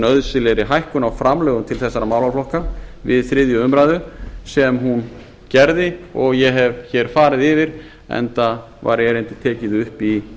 nauðsynlegri hækkun á framlögum til þessara málaflokka við þriðju umræðu sem hún gerði og ég hef hér farið yfir enda var erindið tekið upp í